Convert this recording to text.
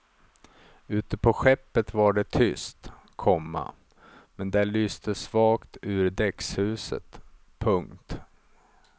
Ute på skeppet var det tyst, komma men där lyste svagt ur däckshuset. punkt